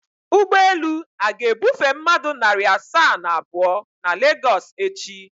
Ụgbọelu a ga-ebufe mmadụ narị asaa na abụọ na Lagos echi?